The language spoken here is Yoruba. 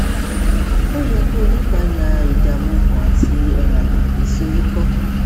ó yẹ kí ó ní ìpayà ìdààmú ọkàn àti um ìsoríkọ